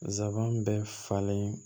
Zaban bɛɛ falen